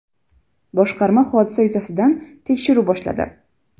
Boshqarma hodisa yuzasidan tekshiruv boshladi.